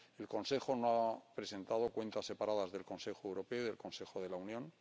El Consejo no ha presentado cuentas separadas del Consejo Europeo y del Consejo de la Unión.